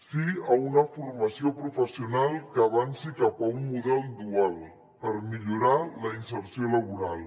sí a una formació professional que avanci cap a un model dual per millorar la inserció laboral